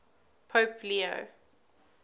pope leo